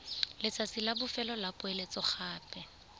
letsatsi la bofelo la poeletsogape